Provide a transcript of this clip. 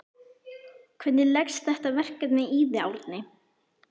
Hvernig leggst þetta verkefni í þig Árni?